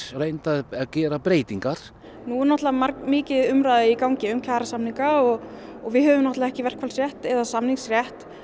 reynt að gera breytingar nú er náttúrulega mikil umræða í gangi um kjarasamninga við höfum náttúrulega ekki verkfallsrétt eða samningsrétt